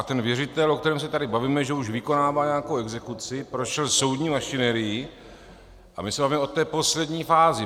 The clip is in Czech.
A ten věřitel, o kterém se tady bavíme, že už vykonává nějakou exekuci, prošel soudní mašinérií a my se bavíme o té poslední fázi.